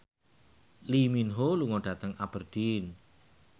Lee Min Ho lunga dhateng Aberdeen